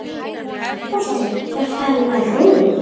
Boltinn var farinn að rúlla.